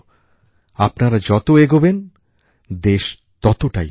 আপনারা যত এগোবেন দেশ ততটাই এগোবে